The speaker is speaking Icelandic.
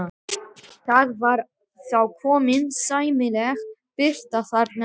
Það var þá komin sæmileg birta þarna inn.